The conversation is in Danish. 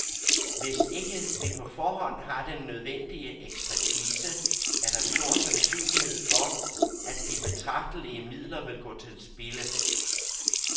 Hvis ikke vi på forhånd har den nødvendige ekspertise, er der stor sansynlighed for, at de betragtelige midler vil gå til spilde.